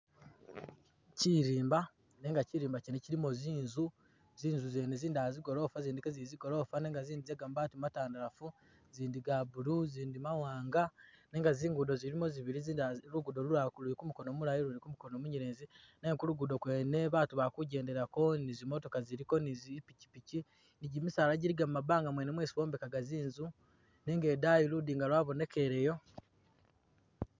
Kyirimba nenga kyirimba kyene kyilimo zinzu zinzu zene zindala zigolofa zindi kezili zigolofa nenga zindi ze ga mabaati matandalafu zindi ga blue zindi mawanga nenga zingudo zilimo zibili lugudo lundi luli kumukono mulayi lundi kumunyelezi nenga kulugudo kwene baatu bali kijendelako ni zimotoka ziliko ni zipikipiki nigimisaala giliga mumabanga mwene mwesi bombekahga zinzu nenga idayi ludinga lwabonekeleyo